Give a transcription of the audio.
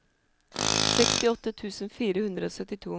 sekstiåtte tusen fire hundre og syttito